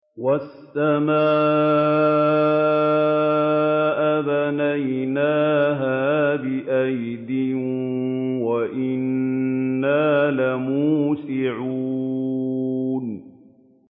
وَالسَّمَاءَ بَنَيْنَاهَا بِأَيْدٍ وَإِنَّا لَمُوسِعُونَ